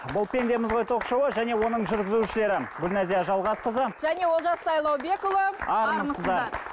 бұл пендеміз ғой ток шоуы және оның жүргізушілері гүлназия жалғасқызы және олжас сайлаубекұлы армысыздар